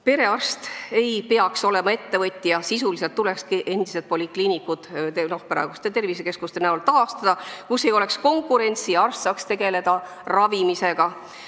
Perearst ei peaks olema ettevõtja, sisuliselt tulekski endised polikliinikud praeguste tervisekeskuste kujul taastada, seal ei oleks konkurentsi ja arst saaks tegeleda ravimisega.